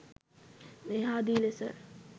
මේ ආදී ලෙස